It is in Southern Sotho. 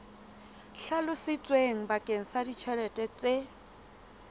hlalositsweng bakeng sa ditjhelete tse